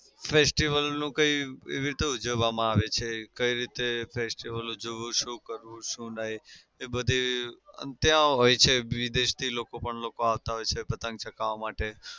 festival નું કઈ કેવી રીતે ઉજવવામાં આવે છે કઈ રીતે festival ઉજવવો શું કરવું શું નઈ. એ બધી એમ ત્યાં હોઈ છે. વિદેશથી લોકો પણ લોકો આવતા હોય છે પતંગ ચગાવા માટે